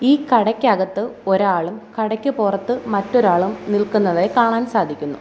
ഈ കടയ്ക്കകത്ത് ഒരാളും കടയ്ക്ക് പുറത്ത് മറ്റൊരാളും നിൽക്കുന്നതായി കാണാൻ സാധിക്കുന്നു.